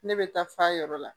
Ne bɛ taa f'a yɔrɔ la